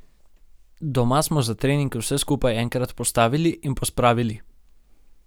Doma smo za trening vse skupaj enkrat postavili in pospravili.